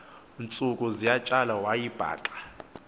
ntsuku zatywala wayibhaqa